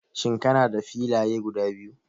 Shin kana da filaya guda biyu?